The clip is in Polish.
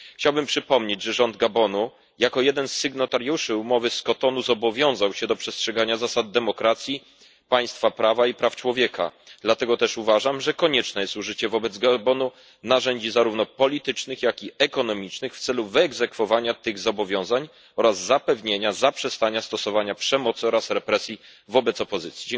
Chciałbym przypomnieć, że rząd Gabonu jako jeden z sygnatariuszy umowy z Kotonu zobowiązał się do przestrzegania zasad demokracji, państwa prawa i praw człowieka, dlatego też uważam, że konieczne jest użycie wobec Gabonu narzędzi zarówno politycznych, jak i gospodarczych w celu wyegzekwowania tych zobowiązań oraz zapewnienia zaprzestania stosowania przemocy i represji wobec opozycji.